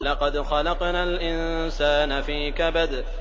لَقَدْ خَلَقْنَا الْإِنسَانَ فِي كَبَدٍ